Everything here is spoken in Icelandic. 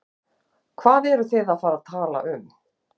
Fréttamaður: Hvað eruð þið að fara að tala um?